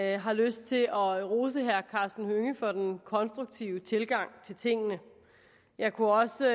jeg har lyst til at rose herre karsten hønge for den konstruktive tilgang til tingene jeg kunne også